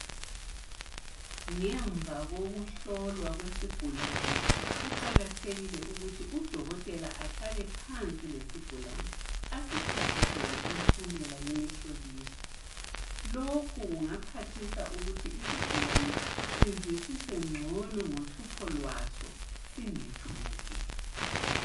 Ngemva kokuhlolwa kwesigulani. Kuqakathekile ukuthi udokotela ahlale phansi lesigulane asichasisele impumela yemihloliso. Lokhu kungaphathisa ukuthi isigulane sizwisise gcono ngohlupho lwaso singethuki.